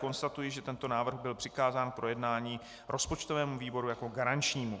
Konstatuji, že tento návrh byl přikázán k projednání rozpočtovému výboru jako garančnímu.